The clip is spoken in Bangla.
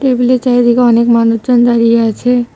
টেবিলের চারিদিকে অনেক মানুচজন দাঁড়িয়ে আছে।